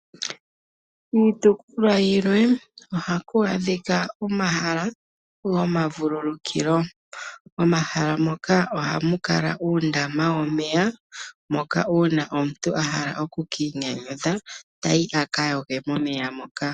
Miitukulwa yilwe oha ku adhika omahala gomavululukilo. Omahala moka oha mu kala uundama womeya moka uuna omuntu ahala oku kiinyanyudha ta yi aka yoge momeya moka